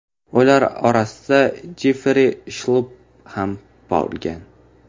Ular orasida Jeffri Shlupp ham bo‘lgan.